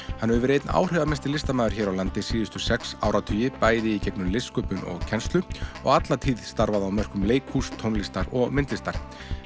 hann hefur verið einn áhrifamesti listamaður hér á landi síðustu sex áratugi bæði í gegnum listsköpun og kennslu og alla tíð starfað á mörkum leikhúss tónlistar og myndlistar